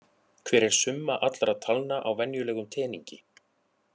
Hver er summa allra talna á venjulegum teningi?